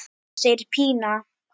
segir Pína.